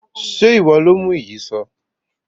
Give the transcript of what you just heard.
Ṣé ìwọ lo mú Ìyíṣòó?